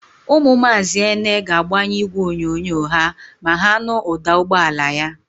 Ụmụ Maazị Ene ga-agbanyụ ígwèonyonyo ha ma ha nụ ụ̀dà ụgbọala ya.